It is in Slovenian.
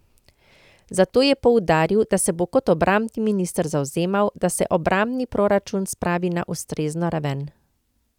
Zato je poudaril, da se bo kot obrambni minister zavzemal, da se obrambni proračun spravi na ustrezno raven.